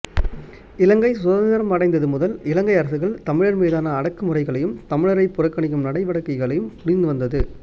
இலங்கை சுதந்திரம் அடைந்தது முதல் இலங்கை அரசுகள் தமிழர் மீதான அடக்கு முறைகளையும் தமிழரை புறக்கணிக்கும் நடவடிக்கைகளையும் புரிந்து வந்தது